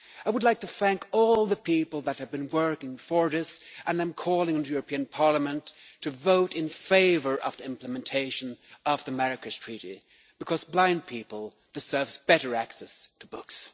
I would like to thank all the people who have been working for this and I am calling on the European Parliament to vote in favour of the implementation of the Marrakech Treaty because blind people deserve better access to books.